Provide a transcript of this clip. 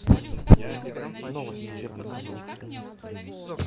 новости первый канал